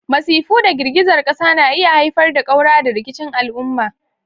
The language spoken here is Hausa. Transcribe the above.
Masifu da girgizar ƙasa na iya haifar da ƙaura da rikicin al'umma.